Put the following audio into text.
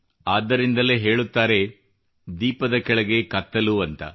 ಆದ್ದರಿಂದಲೇ ಹೇಳುತ್ತಾರೆ ದೀಪದ ಕೆಳಗೇ ಕತ್ತಲು ಎಂದು